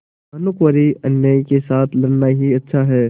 भानुकुँवरिअन्यायी के साथ लड़ना ही अच्छा है